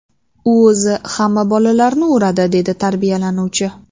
U o‘zi hamma bolalarni uradi”, deydi tarbiyalanuvchi.